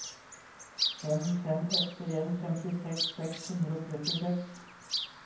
fem fem åtte en femtiseks seks hundre og trettiseks